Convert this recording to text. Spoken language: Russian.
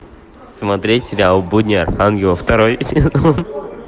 смотреть сериал будни архангела второй сезон